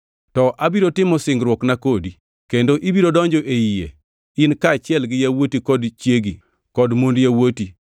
To abiro timo singruokna kodi, kendo ibiro donjo e yie, in kaachiel gi yawuoti kod chiegi, kod mond yawuoti.